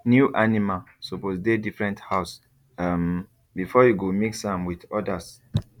new animal suppose dey different house um before you go mix am with others